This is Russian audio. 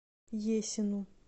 есину